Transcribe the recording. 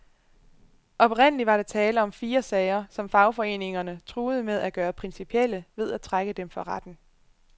Oprindelig var der tale om fire sager, som fagforeningerne truede med at gøre principielle ved at trække dem for retten.